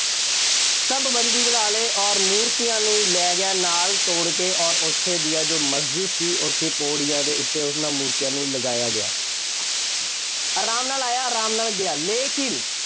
ਸਭ ਬੰਦੀ ਬਣਾ ਲਏ ਅੋਰ ਮੂਰਤੀਆਂ ਨੂੰ ਲੈ ਗਿਆ ਨਾਲ ਤੋੜ ਕੇ ਔਰ ਉੱਥੇ ਦੀਆਂ ਜੋ ਮਸਜਿਦ ਸੀ। ਉੱਥੇ ਪੌੜੀਆਂ ਦੇ ਉੱਤੇ ਉਹਨਾ ਮੂਰਤੀਆਂ ਨੂੰ ਲਗਾਇਆ ਗਿਆ। ਆਰਾਮ ਨਾਲ ਆਇਆ, ਆਰਾਮ ਨਾਲ ਗਿਆ। ਲੇਕਿਨ